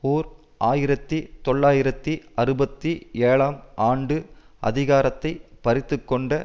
ஓர் ஆயிரத்தி தொள்ளாயிரத்து அறுபத்தி ஏழாம் ஆண்டு அதிகாரத்தை பறித்துக்கொண்ட